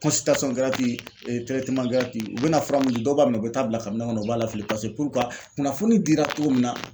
u bɛna fura min di dɔw b'a minɛ u bɛ taa bila kabinɛ kɔnɔ u b'a lafili pase kunnafoni dira cogo min na